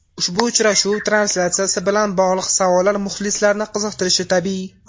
Ushbu uchrashuv translyatsiyasi bilan bog‘liq savollar muxlislarni qiziqtirishi tabiiy.